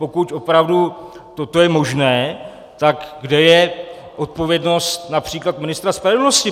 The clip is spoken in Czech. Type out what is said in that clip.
Pokud opravdu toto je možné, tak kde je odpovědnost například ministra spravedlnosti?